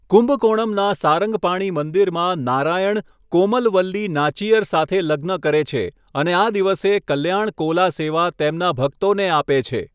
કુંભકોણમનાં સારંગપાણિ મંદિરમાં નારાયણ કોમલવલ્લી નાચિયર સાથે લગ્ન કરે છે અને આ દિવસે કલ્યાણ કોલા સેવા તેમના ભક્તોને આપે છે.